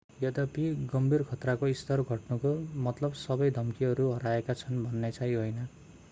यद्यपि गम्भीर खतराको स्तर घट्नुको मतलब सबै धम्कीहरू हराएका छन् भन्ने चाहिँ होइन